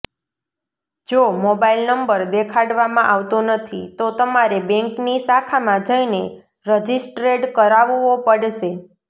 જો mobile number દેખાડવામાં આવતો નથી તો તમારે બેંકની શાખામાં જઇને રજિસ્ટ્રેડ કરાવવો પડશે